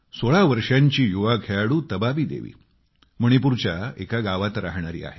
16 वर्षांची युवा खेळाडू तबाबी देवी मणिपूरच्या एका गावातली राहणारी आहे